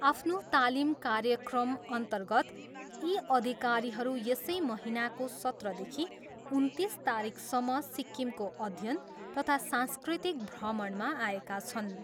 आफ्नो तालिम कार्यक्रमअन्तर्गत यी अधिकारीहरू यसै महिनाको सत्रदेखि उन्तिस तारिखसम्म सिक्किमको अध्ययन तथा सांस्कृतिक भ्रमणमा आएका छन्।